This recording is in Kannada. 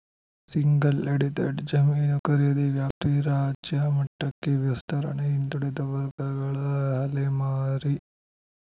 ಸಿಂಗಲ್‌ ಎಡಿಟೆಡ್‌ ಜಮೀನು ಖರೀದಿ ವ್ಯಾಪ್ತಿ ರಾಜ್ಯ ಮಟ್ಟಕ್ಕೆ ವಿಸ್ತರಣೆ ಹಿಂದುಳಿದ ವರ್ಗಗಳ ಅಲೆಮಾರಿ